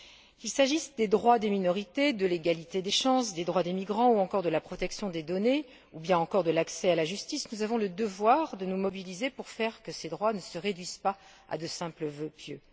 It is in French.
Qu'il s'agisse des droits des minorités, de l'égalité des chances, des droits des migrants, de la protection des données, ou bien encore de l'accès à la justice, nous avons le devoir de nous mobiliser pour faire en sorte que ces droits ne se réduisent pas à de simples vœux pieux.